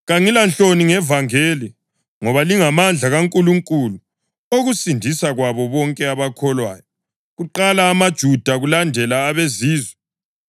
Kangilanhloni ngevangeli, ngoba lingamandla kaNkulunkulu okusindiswa kwabo bonke abakholwayo: kuqala amaJuda, kulandele abeZizwe.